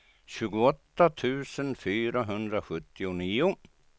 tjugoåtta tusen fyrahundrasjuttionio